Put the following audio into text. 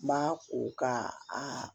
Ma o ka a